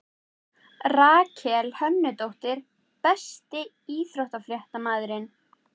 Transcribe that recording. Rakel Hönnudóttir Besti íþróttafréttamaðurinn?